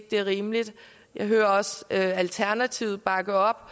det er rimeligt jeg hører også at alternativet bakker op